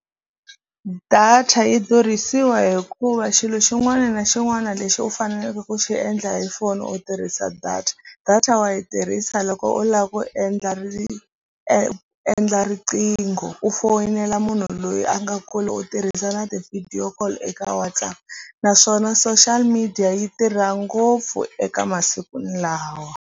Data yi durhisiwa hikuva xilo xin'wana na xin'wana lexi u faneleke ku xi endla hi foni u tirhisa data data wa yi tirhisa loko u lava ku endla ri e endla riqingho u foyinela munhu loyi a nga kule u tirhisa na ti-video call eka WhatsApp naswona social media yi tirha ngopfu eka masiku lawa.